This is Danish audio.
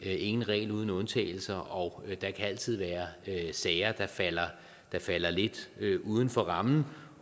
er ingen regel uden undtagelse og der kan altid være sager der falder falder lidt uden for rammen